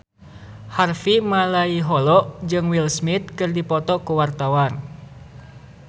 Harvey Malaiholo jeung Will Smith keur dipoto ku wartawan